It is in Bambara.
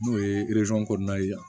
N'o ye kɔnɔna ye yan